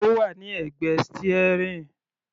Ó wà ní ẹ̀gbẹ́ steering.